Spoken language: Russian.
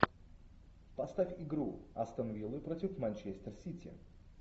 поставь игру астон виллы против манчестер сити